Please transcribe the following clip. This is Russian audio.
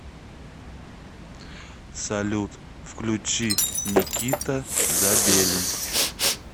салют включи никита забелин